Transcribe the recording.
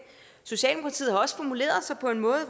socialdemokratiet har også formuleret sig på en måde